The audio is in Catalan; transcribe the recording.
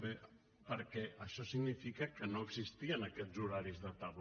bé perquè això significa que no existien aquests horaris de tarda